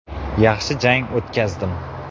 Yaxshi jang o‘tkazdim.